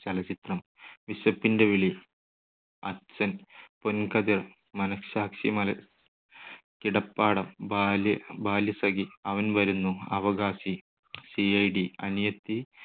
ചലച്ചിത്രം. വിശപ്പിന്റെ വിളി, അച്ഛൻ, പൊൻകതിർ, മനസാക്ഷി , കിടപ്പാടം, ബാല്യ ബാല്യ സഖി, അവൻ വരുന്നു, അവകാശി, സി. ഐ. ഡി, അനിയത്തി,